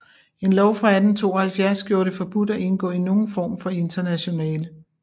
En lov fra 1872 gjorde det forbudt at indgå i nogen form for internationale